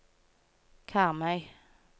Karmøy